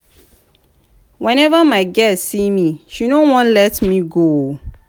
whenever my girl see me she no wan let me go.